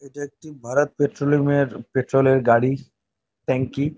এটা একটি ভারত পেট্রোলিয়াম -এর পেট্রোল -এর গাড়ি। ট্যাং কি।